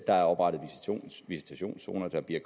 der er oprettet visitationszoner der bliver